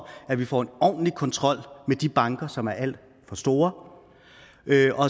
at vi får en ordentlig kontrol med de banker som er alt for store